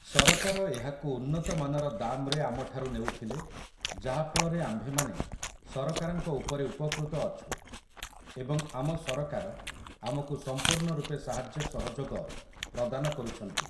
ସରକାର ଏହାକୁ ଉନ୍ନତମାନର ଦାମ୍‌ରେ ଆମଠାରୁ ନେଉଥିଲେ ଯାହାଫଳରେ ଆମ୍ଭେମାନେ ସରକାରଙ୍କ ଉପରେ ଉପକୃତ ଅଛୁ ଏବଂ ଆମ ସରକାର ଆମକୁ ସମ୍ପୂର୍ଣ୍ଣ ରୂପେ ସାହାଯ୍ୟ ସହଯୋଗ ପ୍ରଦାନ କରୁଛନ୍ତି ।